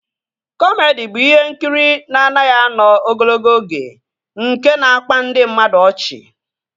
Kọmedi bụ ihe nkiri na-anaghị anọ ogologo oge nke na-akpa ndị mmadụ ọchị